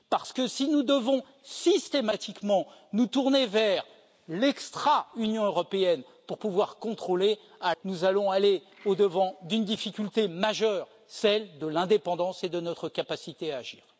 Parce que si nous devons systématiquement nous tourner vers l'extra Union européenne pour pouvoir contrôler, nous allons au devant d'une difficulté majeure celle de l'indépendance et de notre capacité à agir.